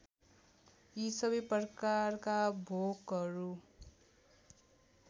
यी सबै प्रकारका भोकहरू